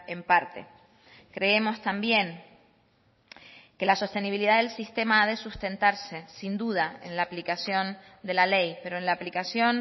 en parte creemos también que la sostenibilidad del sistema ha de sustentarse sin duda en la aplicación de la ley pero en la aplicación